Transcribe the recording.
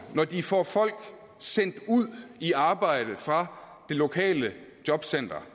når de får folk sendt ud i arbejde fra det lokale jobcenter